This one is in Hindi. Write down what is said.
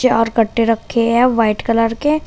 चार कट्टे रखे हैं व्हाइट कलर के।